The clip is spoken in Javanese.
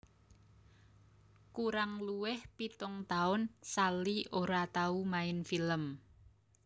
Kurang luwih pitung taun Sally ora tau main film